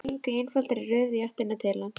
Þær gengu í einfaldri röð í áttina til hans.